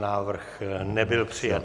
Návrh nebyl přijat.